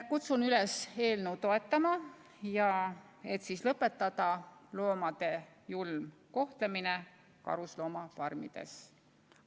Kutsun üles eelnõu toetama, et lõpetada loomade julm kohtlemine karusloomafarmides.